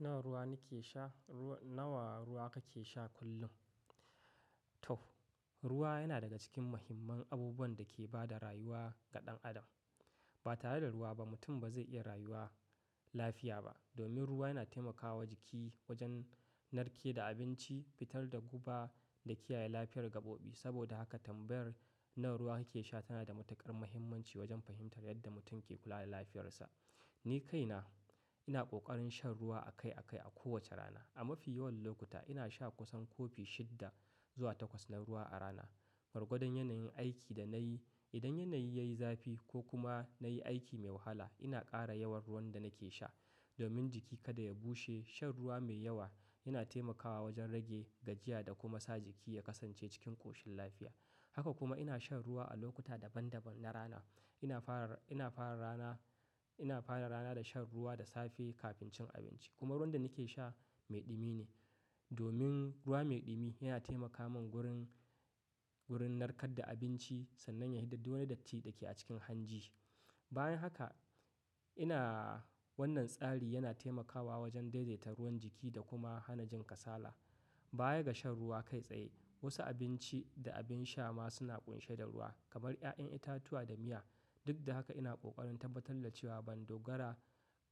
Nawa ruwa ni ke sha? Nawa ruwa kake sha kullum? To, ruwa yana daga cikin muhimman abubuwan da ke ba da rayuwa ga ɗan adam. Ba tare da ruwa ba mutum ba zai iya rayuwa lafiya ba, domin ruwa yana taimakawa jiki wajen narke da abinci, fitar da guba, da kiyaye lafiyar gaɓoɓi. Saboda haka tambayar "nawa ruwa kake sha?" tana da matuƙar muhimmanci wajen fahimtar yadda mutum ke kula da lafiyarsa. Ni kaina ina ƙoƙarin shan ruwa a kai a kai a kowace rana. A mafi yawan lokuta, ina sha kusan kofi shidda zuwa takwas na ruwa a rana. Gwargwadon yanayin aiki da nayi, idan yanayi yayi zafi ko kuma nayi aiki mai wahala, ina ƙara yawan ruwan da nake sha. Domin jiki kada ya bushe, shan ruwa mai yawa yana taimakawa wajen rage gajiya da kuma sa jiki ya kasance cikin ƙoshin lafiya. Haka kuma ina shan ruwa a lokuta daban-daban na rana. Ina fara rana, ina fara rana da shan ruwa da safe kafin cin abinci, kuma ruwan da nake sha mai ɗumi ne. Domin ruwa me ɗumi yana taimaka mun wurin, wurin narkar da abinci sannan yayi fito da duk wani datti da ke cikin hanji. Bayan haka, ina wannan tsari yana taimakawa wajen daidaita ruwan jiki da kuma hana jin kasala. Baya ga shan ruwa kai tsaye wasu abinci da abin sha ma suna ƙunshe da ruwa kamar 'ya'yan itatuwa da miya. Duk da haka ina ƙoƙarin tabbatar da cewa ban dogara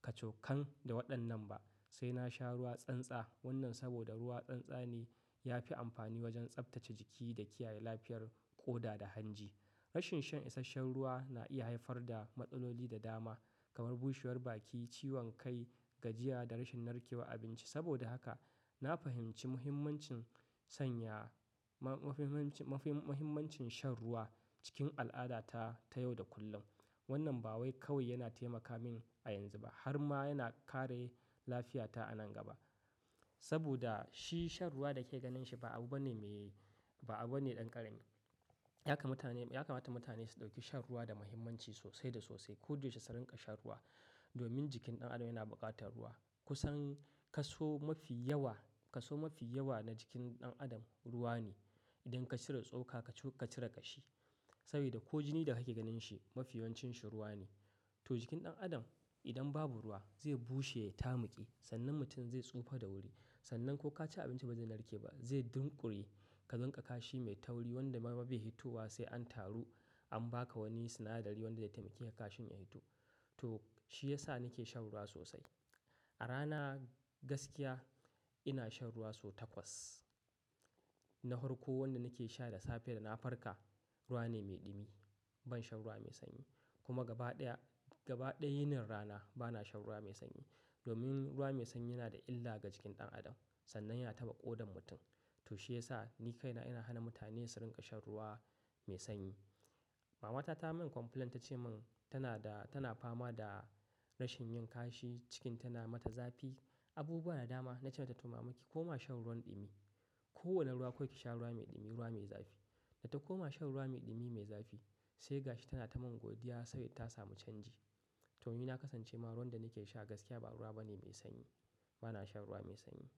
kacokan da waɗannan ba. Sai na sha ruwa tsantsa wannan saboda ruwa tsantsane ya fi amfani wajen tsaftace jiki da kiyaye lafiyar ƙoda da hanji. Rashin shan isasshen ruwa na iya haifar da matsaloli da dama, kamar bushewar baki, ciwon kai, gajiya da rashin narkewan abinci. Saboda haka, na fahimci muhimmancin sanya mahimmancin shan ruwa cikin al'adata ta yau da kullum. Wannan ba wai kawai yana taimaka min a yanzu ba, har ma yana kare lafiyata a nan gaba. Saboda shi shan ruwa da ke ganin shi, ba abu bane me, ba abu bane ɗan ƙarami. Ya kamata mutane su ɗauki shan ruwa da muhimmanci sosai da sosai. Ko da yaushe su ringa shan ruwa domin jikin ɗan adam yana buƙatar ruwa. Kusan kaso mafi yawa, kaso mafi yawa na jikin ɗan adam ruwa ne. Idan ka cire tsoka ka cire kashi. Sabida ko jini da kake ganin shi, mafi yawancin shi ruwa ne. To jikin ɗan adam idan babu ruwa, zai bushe ya ta muƙe sannan mutum zai tsufa da wuri. Sannan ko ka ci abinci ba zai narke ba, zai dunƙule. Ka rinƙa kashi mai tauri wanda ma bai hitowa sai an taru, an ba ka wani sinadari wanda zai taimake ka kashin ya hito. To shi ya sa nake shan ruwa sosai. A rana gaskiya ina shan ruwa so takwas. Na farko, wanda nake sha da safe da na farka ruwa ne me ɗumi. Ban shan ruwa mai sanyi, kuma gaba ɗaya, gaba ɗaya yinin rana bana shan ruwa mai sanyi. Domin ruwa mai sanyi yana da illa ga jikin ɗan adam sannan yana taɓa ƙodan mutum. To shi yas a, ni kaina ina hana mutane su rinƙa shan ruwa mai sanyi. Mama ta ta yi min complaint ta ce mun tana da, tana fama da rashin yin kashi cikin tana mata zafi. Abu ba na dama na ce mata "to, mama ki koma shan ruwan ɗumi". Ko wane ruwa kawai ki sha ruwa mai ɗumi, ruwa mai zafi. Da ta koma shan ruwa mai ɗumi mai zafi, sai ga shi tana ta mun godiya saboda ta samu canji. To ni na kasance ma ruwan da nake sha gaskiya ba ruwa bane mai sanyi. Bana shan ruwa mai sanyi.